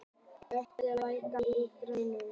Oddvör, lækkaðu í græjunum.